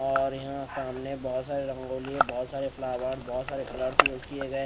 और यहां सामने बहोत सारे रंगोली बहोत सारे फ्लावर बहोत सारे कलर्स यूज किए गए--